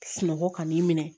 Sunɔgɔ ka n'i minɛ